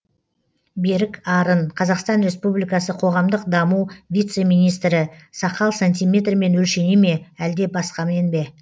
берік арын қазақстан республикасы қоғамдық даму вице министрі сақал сантиметрмен өлшене ме әлде басқамен бе